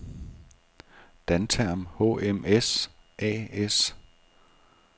Dantherm HMS A/S